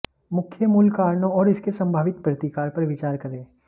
मुख्य मूल कारणों और इसके संभावित प्रतिकार पर विचार करें